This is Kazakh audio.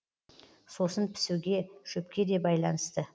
сосын пісуге шөпке де байланысты